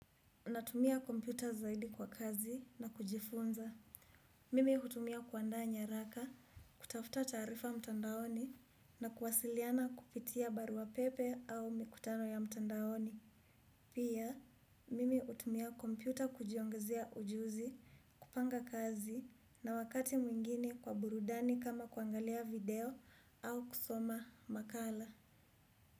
Natumia kompyuta zaidi kwa kazi na kujifunza. Mimi hutumia kuandaa nyaraka, kutafuta taarifa mtandaoni na kuwasiliana kupitia barua pepe au mikutano ya mtandaoni. Pia, mimi hutumia kompyuta kujiongezea ujuzi, kupanga kazi na wakati mwingine kwa burudani kama kuangalia video au kusoma makala.